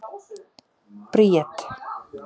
Bríet